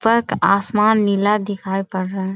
पक आसमान नीला दिखाई पड़ रहा है ।